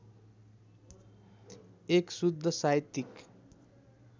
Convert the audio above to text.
१ शुद्ध साहित्यिक